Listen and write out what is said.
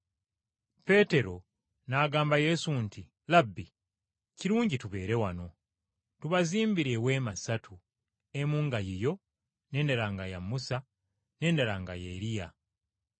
Peetero n’agamba Yesu nti, “Labbi, kirungi tubeere wano, tubazimbire ensiisira ssatu, emu nga yiyo, n’endala nga ya Musa, n’endala nga ya Eriya.”